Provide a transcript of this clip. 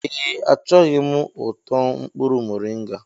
Ee, Achọghị m ụtọ mkpụrụ moringa.